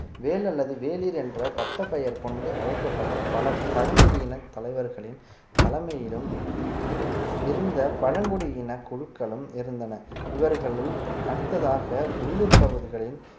வேள் அல்லது வேளிர் என்ற பட்டப்பெயர் கொண்டு அழைக்கப்பட்ட பல பழங்குடியின தலைவர்களின் தலைமையிலும் இருந்த பழங்குடியின குழுக்களும் இருந்தன இவர்களுள் அடுத்ததாக உள்ளூர் பகுதிகளின்